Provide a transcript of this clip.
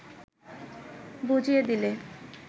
বুজিয়ে দিলে